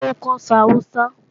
Rárá, n kò sọ Awúsá